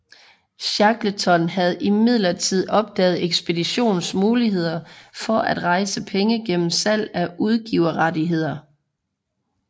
Shackleton havde imidlertid opdaget ekspeditionens muligheder for at rejse penge gennem salg af udgiverrettigheder